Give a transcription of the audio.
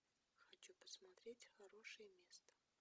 хочу посмотреть хорошее место